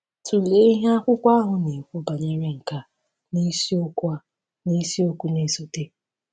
Tụlee ihe akwụkwọ ahụ na-ekwu banyere nke a n’isiokwu a n’isiokwu na-esote.